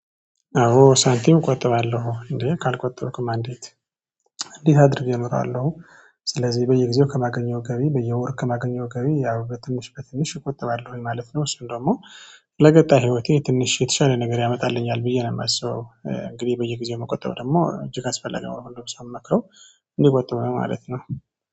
አዎ ሳንቲም እቆጥባለሁ እንዴ ካልቆጠብክማ አንዴት እንዴት አድርጌ እኖራለሁ። ስለዚህ በየጊዜው ከማገኘው ገቢ በየወር ከማገኘው ገቢ ያው በትንሽ በትንሽ እቆጥባለው ማለት ነው። እሱን ደግሞ ለቀጣይ ህይወቴ ትንሽ የተሻለ ነገር ያመጣልኛል ብዬ ነው የማስበው። እንግዲህ በየጊዜው መቆጠብ ደግሞ እጅግ አስፈለጊ ነው ለሁሉም ሰው እምመክረው እንዲቆጥብ ነው ማለት ነው